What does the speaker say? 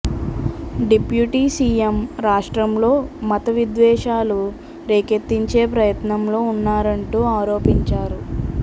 deputy CM రాష్ట్రంలో మత విద్వేషాలు రేకెత్తించే ప్రయత్నంలో ఉన్నారంటూ ఆరోపించారు